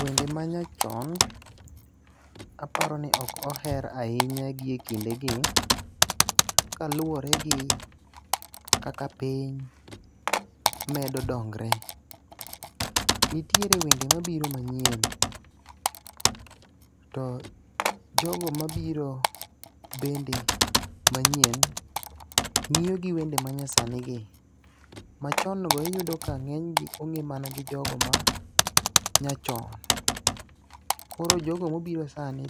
Wende ma nyachon, aparo ni ok oher ahinya gi ekinde gi. Kaluwore gi kaka piny medo dongre. Nitiere wende mabiro manyien. To jogo mabiro bende manyien ng'iyo gi wende ma nyasani gi. Machon go iyudo ka ng'eny go ong'e mana gi jogo ma nyachon. Koro jogo mobiro sani